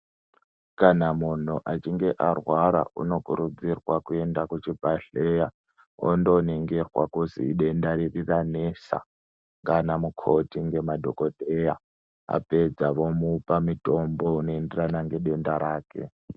Kana munhu achinhe arwara unokurudzirwa kuende kuchibhadhleya ondoningirwa kuzi idenda riri ranesa ngana mukoti nemadhokodheya vapedza vomupa mutombo unoenderana nedenda rake.